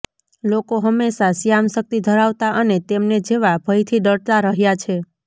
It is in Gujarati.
લોકો હંમેશા શ્યામ શક્તિ ધરાવતા અને તેમને જેવા ભયથી ડરતા રહ્યા છે